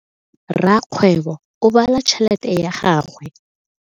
Rakgwebo o bala tšhelete ya gagwe.